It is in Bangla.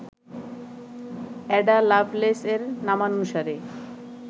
অ্যাডা লাভলেস এর নামানুসারে,